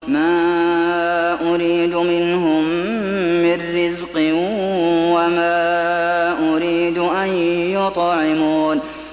مَا أُرِيدُ مِنْهُم مِّن رِّزْقٍ وَمَا أُرِيدُ أَن يُطْعِمُونِ